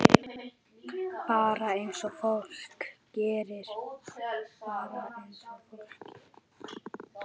Bara eins og fólk gerir.